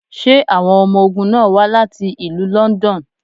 Ṣé awọn ọmọ ogun náà wá láti ìlú London?